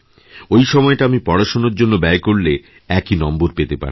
ওই সময়টা আমি পড়াশোনার জন্যব্যয় করলে একই নম্বর পেতে পারতাম